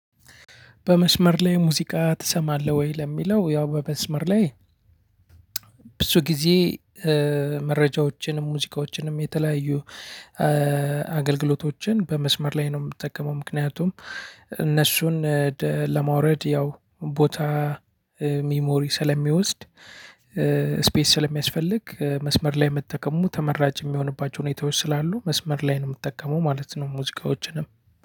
በመስመር ላይ ሙዚቃ ትሰማለህ ወይ? ለሚለው ያው በመስመር ላይ ብዙ ጊዜ መረጃዎችንም ሙዚቃዎችንም የተለያዩ አገልግሎቶችን በመስመር ላይ ነው የምትጠቀመው። ምክንያቱም እነሱን ለማውረድ ያው ቦታ ሚሞሪ ስለሚወስድ። ቤትስለሚያስፈልግ መስመር ላይ መስመር ላይ መጠቀሙ ተመራጭ ሁኔታዎች ስላሉ መስመር ላይ ነው ምጠቀመው ማለት ነው። ሙዚቃዎችንም